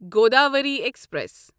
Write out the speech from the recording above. Godavari express